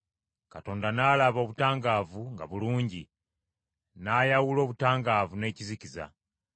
Katonda n’alaba obutangaavu nga bulungi; n’ayawula obutangaavu n’ekizikiza.